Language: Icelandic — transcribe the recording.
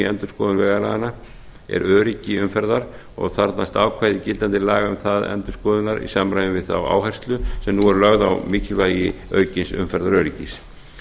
endurskoðun vegalaganna er öryggi umferðar og þarfnast ákvæði gildandi laga um það endurskoðunar í samræmi við þá áherslu sem nú er lögð á mikilvægi aukins umferðaröryggis